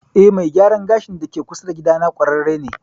Eh mai gyaran gashin da ke kusa da gida na ƙwararre ne